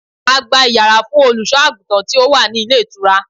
A gba Ìyàrá fún Olùṣọ́-àgùntàn tí ó wá ní ilé ìtura.